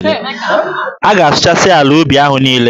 A ga-asụchasị ala ubi ahụ niile.